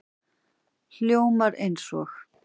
Hljómar eins og